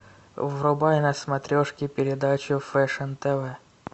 врубай на смотрешке передачу фэшн тв